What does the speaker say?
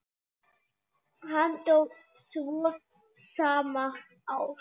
Hann dó svo sama ár.